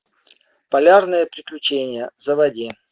полярное приключение заводи